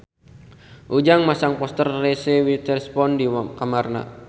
Ujang masang poster Reese Witherspoon di kamarna